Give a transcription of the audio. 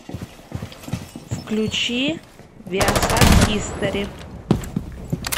включи виасат хистори